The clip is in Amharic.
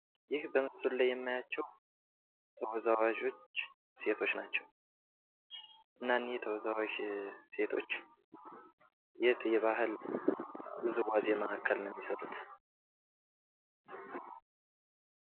ይህ በምስሉ ላይ የማያቸው ተወዛዋዦች ሴቶች ናቸው። እና እነዚህ ተወዛዋዥ ሴቶች የት የባህል ውዝዋዜ ማዕከል ነው የሚሰሩት?